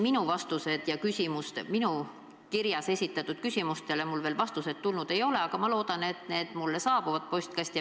Tõsi, minu kirjas esitatud küsimustele veel vastused tulnud ei ole, aga ma loodan, et need siiski saabuvad mu postkasti.